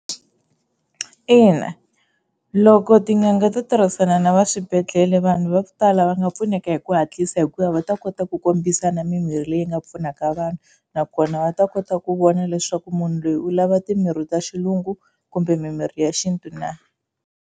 Ina, loko tin'anga ti tirhisana na va swibedhlele vanhu va ku tala va nga pfuneka hi ku hatlisa hikuva va ta kota ku kombisa na mimirhi leyi nga pfunaka vanhu, nakona va ta kota ku vona leswaku munhu loyi u lava timirhi ta xilungu kumbe mimirhi ya xintu na.